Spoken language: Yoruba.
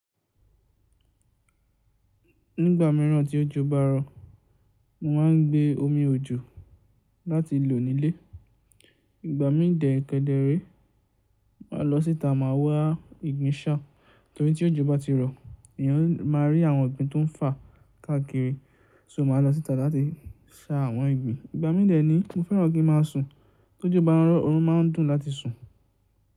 Nígbà mìíràn tí òjò bá rọ̀, mo máà ń gbé omi òjò láti lò nílé. Ìgbà mídẹ̀ẹ̀kẹ̀dẹ̀ẹ̀rẹ́, màá lọ síta máa wá ìgbín sá. Nítorí tí òjò bá ti rọ̀, èèyàn máa rí àwọn ìgbín tó ń fà káàkiri. So màá lọ síta láti sá àwọn ìgbín. Ìgbà mídẹ̀ẹ̀ ni mo fẹ́ràn kí n máa sùn. Tó ojo bá rọ̀, oorun máa ń dùn láti sùn.